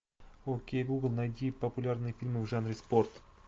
окей гугл найди популярные фильмы в жанре спорт